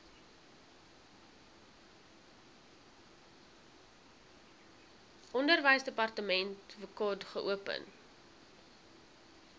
onderwysdepartement wkod geopen